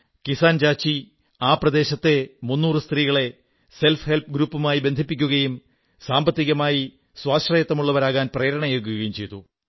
കിസാൻ ചാചി ആ പ്രദേശത്തെ 300 സ്ത്രീകളെ സ്വയം സഹായ സംഘങ്ങളുമായി ബന്ധിപ്പിക്കുകയും സാമ്പത്തികമായി സ്വാശ്രയത്വമുള്ളവരാകാൻ പ്രേരണയേകുകയും ചെയ്തു